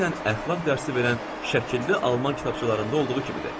Eynən əxlaq dərsi verən şəkilli alman kitabçalarında olduğu kimidir.